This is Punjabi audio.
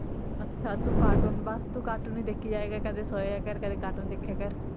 ਅੱਛਾ ਤੂੰ cartoon ਬਸ ਤੂੰ cartoon ਹੀ ਦੇਖੀ ਜਾਇਆ ਕਰ ਕਦੇ ਸੋਇਆ ਕਰ ਕਦੇ cartoon ਦੇਖਿਆ ਕਰ